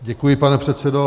Děkuji, pane předsedo.